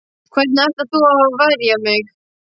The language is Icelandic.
Hvernig ætlar þú að verja mig?